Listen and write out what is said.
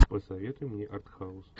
посоветуй мне артхаус